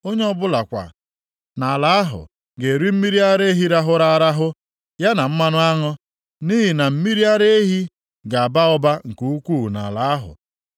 Onye ọbụla kwa nʼala ahụ ga-eri mmiri ara ehi rahụrụ arahụ, ya na mmanụ aṅụ, nʼihi na mmiri ara ehi ga-aba ụba nke ukwuu nʼala ahụ.